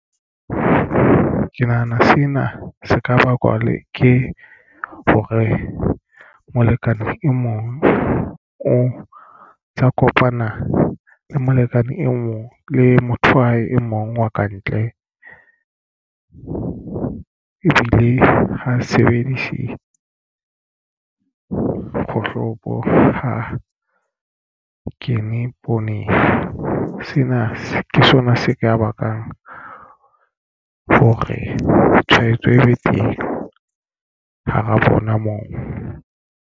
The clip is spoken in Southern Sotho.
Ke nahana sena se ka bakwa le ke hore molekane e mong o tla kopana le molekane e mong le motho wa hae e mong wa kantle e bile ho sebedis kgohlopo ha kene pooneng ke sena ke sona se ka bakang hore tshwaetso e betere hara bona moo.